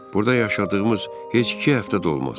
Burda yaşadığımız heç iki həftə də olmaz.